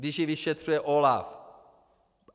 Když ji vyšetřuje OLAF.